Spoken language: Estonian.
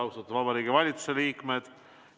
Austatud Vabariigi Valitsuse liikmed!